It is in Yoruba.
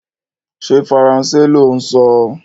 Ṣé Faransé lò ń sọ?